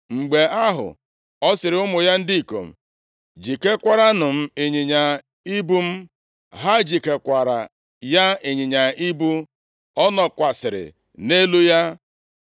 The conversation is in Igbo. Mgbe ahụ, ọ sịrị ụmụ ya ndị ikom, “Jikekwaranụ m ịnyịnya ibu m.” Ha jikekwaara ya ịnyịnya ibu, ọ nọkwasịrị nʼelu ya.